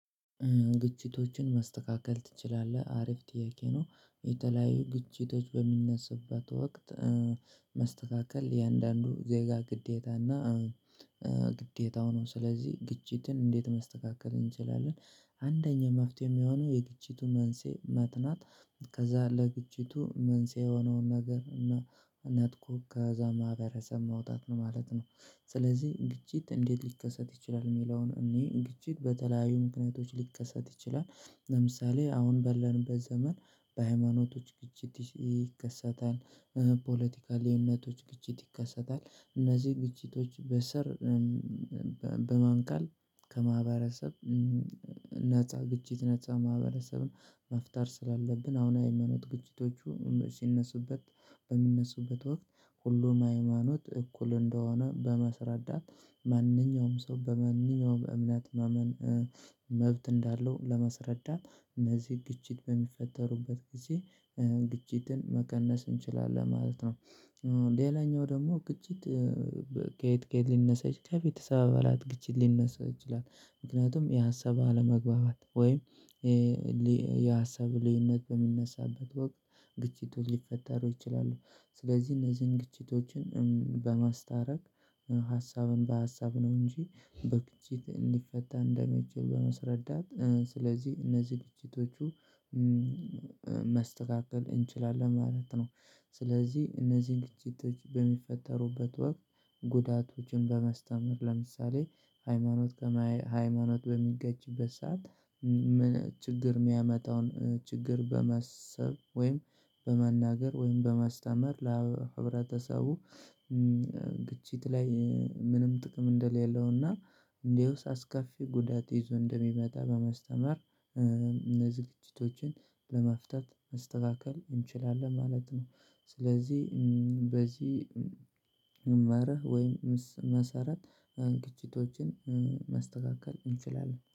ግጭቶችን ማስተካከል ትችላለህ? አሪፍ ጥያቄ ነው የተለያዩ ግጭቶች በሚነሱበት ወቅት መስተካከል የአንዳንዱ ዜጋ ግዴታ እና ግዴታው ነው። ስለዚህ ግጭትን እንዴት ማስተካከል እንችላለን። አንደኛ መፍትሄ የሚሆነው የግጭቱ መንሴ መጥናት ከዛ ለግጭቱ መንስኤ የሆነውን ነገር ነጥቆ ከዛ ማህበረሰብ መውጣት ነው ማለት ነው። ስለዚህ ግጭት እንዴት ሊከሰት ይችላል የሚለውን እኔ ግጭት በተለያዩ ምክንያቶች ሊከሰት ይችላል። ለምሳሌ አሁን በለንበት ዘመን በሃይማኖቶች ግጭት ይከሰታል። የእምነቶች ግጭት ይከሰታል። እነዚህ ግጭቶች በሰር በማንቀል ከማህበረሰብ ነፃ ግጭት ነፃ ማህበረሰብን መፍጠር ስላለብን አሁን ሃይማኖት ግጭቶቹ ሲነሱበት በሚነሱበት ወቅት ሁሉም ሃይማኖት እኩል እንደሆነ በማስረዳት ማንኛውም ሰው በማንኛውም እምነት ማመን መብት እንዳለው ለማስረዳት እነዚህ ግጭት በሚፈጠሩበት ጊዜ ግጭትን መቀነስ እንችላለን ማለት ነው። ሌላኛው ደግሞ ግጭት ከየት ከየት ሊነሳ ይች ከቤተሰብ አባላት ግጭት ሊነሳ ይችላል። ምክንያቱም የሀሳብ አለመግባባት ወይም የሀሳብ ልዩነት በሚነሳበት ወቅት ግጭቶች ሊፈጠሩ ይችላሉ። ስለዚህ እነዚህን ግጭቶችን በማስታረቅ ሀሳብን በሀሳብ ነው እንጂ በግጭት እንዲፈታ እንደማይችል በማስረዳት ስለዚህ እነዚህ ግጭቶቹ መስተካከል እንችላለን ማለት ነው። ስለዚህ እነዚህን ግጭቶች በሚፈጠሩበት ወቅት ጉዳቶችን በማስተምር ለምሳሌ ሃይማኖት ከማይ ሃይማኖት በሚጋጭበት ሰዓት ምን ችግር ሚያመጣውን ችግር በማሰብ ወይም በመናገር ወይም በማስተምር ለህብረተሰቡ ግጭት ላይ ምንም ጥቅም እንደሌለው እና እንዲያውስ አስከፊ ጉዳት ይዞ እንደሚመጣ በማስተማር እነዚ ዝግጅቶችን ለመፍታት መስተካከል እንችላለን ማለት ነው። ስለዚህ በዚህ መመሪያ ወይም ምስ መሰረት ግጭቶችን መስተካከል እንችላለን